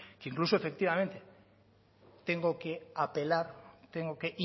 que incluso efectivamente tengo que apelar tengo que